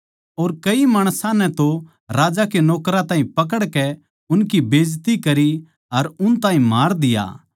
और कई माणसां नै तो राजा के नौकरां ताहीं पकड़कै उनकी बेईज्जती करी अर उन ताहीं मार दिया